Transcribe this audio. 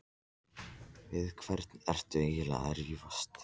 Við hvern ertu eiginlega að rífast?